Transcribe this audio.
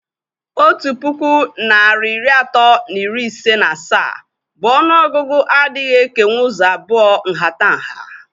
otu puku narị iri atọ na iri ise na asaa bu ọnụọgụgụ adịghị ekenwu ụzọ abụọ nhatanha.